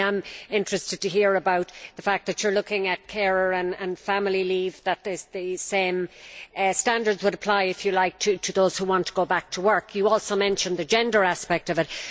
I am interested to hear about the fact that you are looking at carer and family leave, that the same standards would apply to those who want to go back to work. You also mentioned the gender aspect of it.